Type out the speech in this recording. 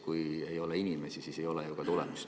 Kui ei ole inimesi, siis ei ole ju ka tulemust.